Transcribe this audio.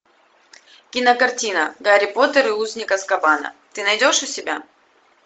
кинокартина гарри поттер и узник азкабана ты найдешь у себя